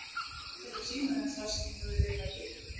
Vildi endilega sýna þeim það sem ég hafði verið að gera.